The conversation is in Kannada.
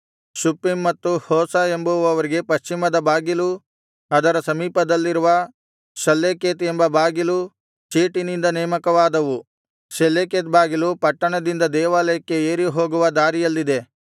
ಶುಪ್ಪೀಮ್ ಮತ್ತು ಹೋಸ ಎಂಬುವರಿಗೆ ಪಶ್ಚಿಮದ ಬಾಗಿಲೂ ಅದರ ಸಮೀಪದಲ್ಲಿರುವ ಶಲ್ಲೆಕೆತ್ ಎಂಬ ಬಾಗಿಲು ಚೀಟಿನಿಂದ ನೇಮಕವಾದವು ಶೆಲ್ಲೆಕೆತ್ ಬಾಗಿಲು ಪಟ್ಟಣದಿಂದ ದೇವಾಲಯಕ್ಕೆ ಏರಿಹೋಗುವ ದಾರಿಯಲ್ಲಿದೆ